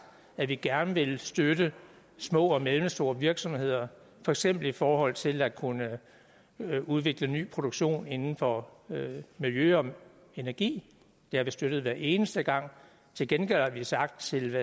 at vi gerne vil støtte små og mellemstore virksomheder for eksempel i forhold til at kunne udvikle ny produktion inden for miljø og energi det har vi støttet hver eneste gang til gengæld har vi sagt til